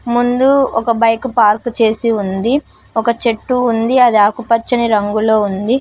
ముందు ఒక bike park చేసి ఉంది ఒక చెట్టు ఉంది అది ఆకుపచ్చని రంగులో ఉంది.